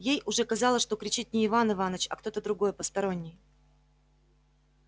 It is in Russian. ей уже казалось что кричит не иван иваныч а кто-то другой посторонний